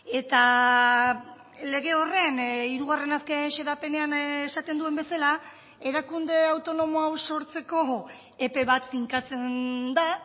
eta lege horren hirugarren azken xedapenean esaten duen bezala erakunde autonomo hau sortzeko epe bat finkatzen da